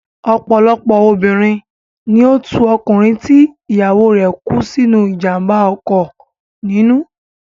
Ọ̀pọ̀lọpọ̀ obìnrin ni ó tú ọkùnrin tí ìyàwó rẹ̀ kú sínú ìjàmbá ọkọ̀ nínú.